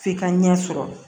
F'i ka ɲɛ sɔrɔ